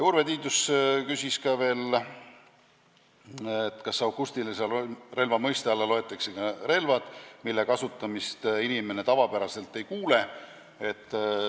Urve Tiidus küsis veel, kas akustilise relva mõiste alla loetakse ka relvad, mille kasutamist inimene tavapäraselt ei kuule.